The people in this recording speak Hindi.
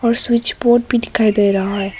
और स्विच बोर्ड भी दिखाई दे रहा है।